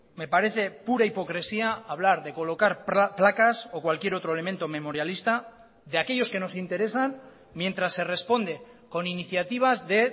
me parece pura hipocresía hablar de colocar placas o cualquier otro elemento memorialista de aquellos que nos interesan mientras se responde con iniciativas de